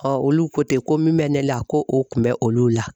olu ko tɛ ko min bɛ ne la ko o kun bɛ olu la.